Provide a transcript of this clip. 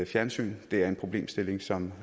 fjernsyn det er en problemstilling som